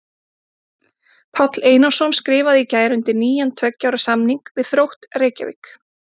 Páll Einarsson skrifaði í gær undir nýjan tveggja ára samning við Þrótt Reykjavík.